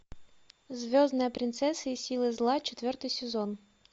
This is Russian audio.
звездная принцесса и силы зла четвертый сезон